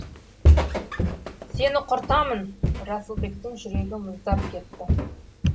сені құртамын расылбектің жүрегі мұздап кетті